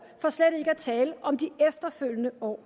for slet ikke at tale om de efterfølgende år